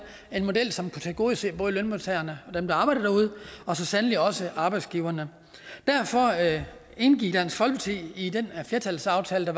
en model som kunne tilgodese både lønmodtagerne dem der arbejder derude og så sandelig også arbejdsgiverne derfor indgik dansk folkeparti i den flertalsaftale der